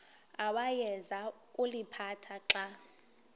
awayeza kuliphatha xa